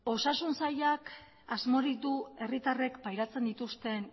osasun sailak asmorik du herritarren pairatzen dituzten